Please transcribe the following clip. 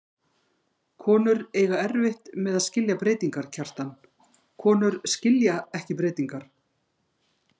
Konur eiga erfitt með að skilja breytingar, Kjartan, konur skilja ekki breytingar.